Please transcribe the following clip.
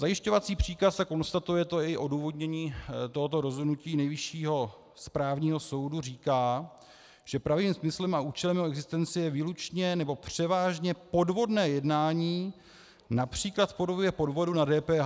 Zajišťovací příkaz, a konstatuje to i odůvodnění tohoto rozhodnutí Nejvyššího správního soudu, říká, že pravým smyslem a účelem jeho existence je výlučně nebo převážně podvodné jednání, například v podobě podvodu na DPH.